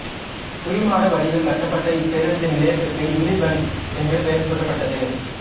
குவிமாட வடிவில் கட்டப்பட்ட இப்பேருந்து நிலையத்திற்கு இம்லிபன் என்று பெயர் சூட்டப்பட்டது